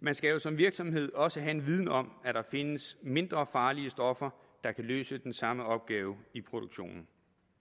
man skal jo som virksomhed også have en viden om at der findes mindre farlige stoffer der kan løse den samme opgave i produktionen